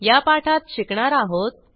या पाठात शिकणार आहोत